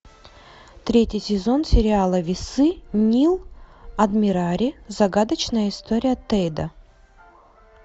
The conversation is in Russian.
третий сезон сериала весы нил адмирари загадочная история тэйто